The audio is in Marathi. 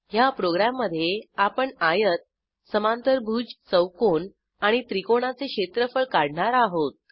ह्या प्रोग्रॅममधे आपण आयत समांतरभुज चौकोन आणि त्रिकोणाचे क्षेत्रफळ काढणार आहोत